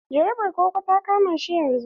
Jarabar koko ta kama shi yanzun.